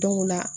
Dɔw la